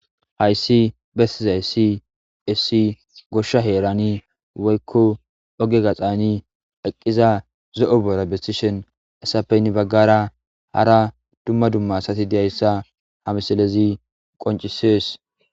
Hayssi bessizayssi issi goshsha heerani woykko oge gaxani eqqiza zo7o boora bessishen essape hini baggara hara dumma dumma asathi diyayssa ha misilezi qonccissees.